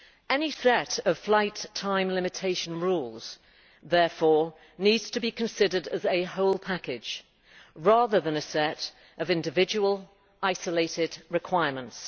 Any set of flight time limitation rules therefore needs to be considered as a whole package rather than a set of individual isolated requirements.